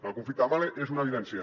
en el conflicte amb mahle és una evidència